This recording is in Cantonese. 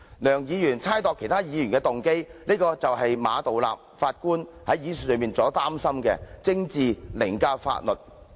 梁議員猜度其他議員的動機，正正是馬道立首席法官所擔心的政治凌駕法律的例子。